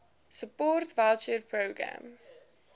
support voucher programme